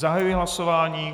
Zahajuji hlasování.